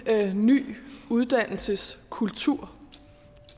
ny uddannelseskultur vi